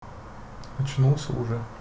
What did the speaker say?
очнулся уже